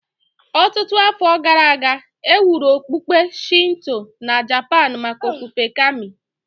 Ọtụtụ afọ gara aga, e wuru okpukpe Shinto na Japan maka ofufe Kami